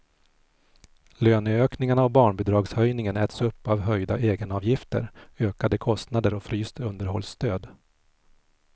Löneökningarna och barnbidragshöjningen äts upp av höjda egenavgifter, ökade kostnader och fryst underhållsstöd.